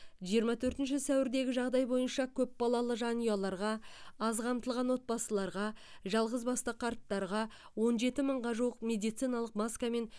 жиырма төртінші сәуірдегі жағдай бойынша көпбалалы жанұяларға аз қамтылған отбасыларға жалғызбасты қарттарға он жеті мыңға жуық медициналық маска мен